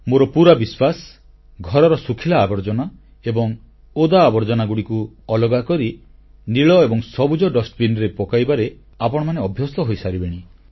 ମୋର ପୁରା ବିଶ୍ୱାସ ଘରର ଶୁଖିଲା ଆବର୍ଜନା ଏବଂ ଓଦା ତଥା ତରଳ ଆବର୍ଜନାକୁ ଅଲଗା କରି ନୀଳ ଏବଂ ସବୁଜ ଡଷ୍ଟବିନ୍ ରେ ପକାଇବାରେ ଆପଣମାନେ ଅଭ୍ୟସ୍ତ ହୋଇସାରିବେଣି